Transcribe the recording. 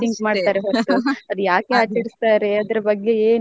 ಅದ್ ಯಾಕೆ ಆಚರಿಸ್ತಾರೆ ಅದ್ರ ಬಗ್ಗೆ ಏನು.